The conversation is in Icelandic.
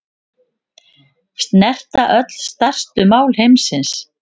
Snerta öll stærstu mál heimsins